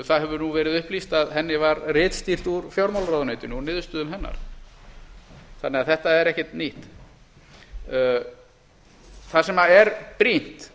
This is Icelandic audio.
það hefur nú verið upplýst að henni var ritstýrt úr fjármálaráðuneytinu og niðurstöðum hennar þannig að þetta er ekkert nýtt það sem er brýnt